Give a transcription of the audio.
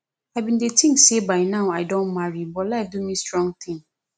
i bin dey think say by now i don marry but life do me strong thing